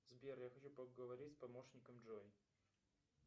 сбер я хочу поговорить с помощником джой